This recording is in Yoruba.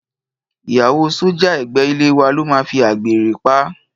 Ìyàwó sọ́jà ẹ̀gbẹ́ ilé wa ló máa fi àgbèrè pa á.